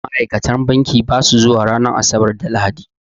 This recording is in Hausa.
Ma'ikatan banki basa zuwa ranar Asabar da Lahadi